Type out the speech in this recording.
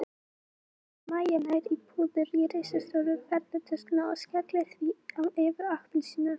Mæja nær í púður í risastóru ferðatöskuna og skellir því á Evu appelsínu.